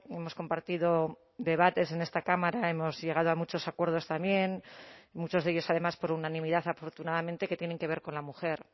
hemos compartido debates en esta cámara hemos llegado a muchos acuerdos también muchos de ellos además por unanimidad afortunadamente que tienen que ver con la mujer